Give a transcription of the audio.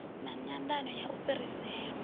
na nyandano ya u fhirisela